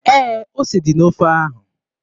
Ee, ose dị n'ofe ahụ.